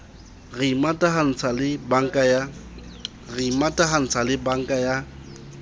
re imatahantse le banka ya